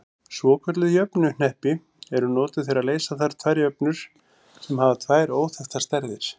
Svokölluð jöfnuhneppi eru notuð þegar leysa þarf tvær jöfnur sem hafa tvær óþekktar stærðir.